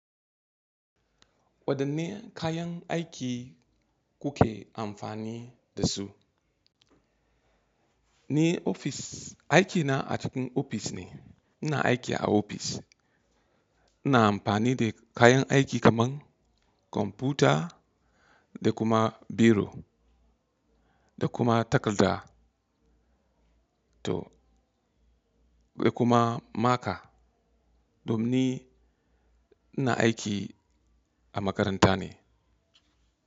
Wadanne kayan aiki kuke amfani da su? Ni ofis, aikina a cikin ofis ne. Ina aiki a ofis. Ina amfani da kayan aiki kaman kwamfuta da kuma biro da kuma takarda to da kuma maka. Domin ina aiki a makaranta ne.